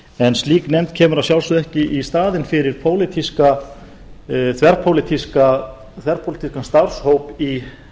en slík nefnd kemur að sjálfsögðu ekki í staðinn fyrir þverpólitískan starfshóp í